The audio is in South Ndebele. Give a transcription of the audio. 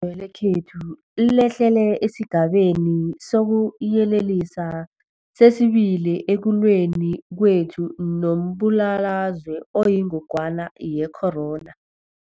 we lekhethu lehlele esiGabeni sokuYelelisa sesi-2 ekulweni kwethu nombulalazwe oyingogwana ye-corona.